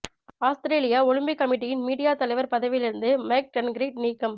ஆஸ்திரேலிய Olympic கமிட்டியின் media தலைவர் பதவியிலிருந்து மைக் டன்கிரீட் நீக்கம்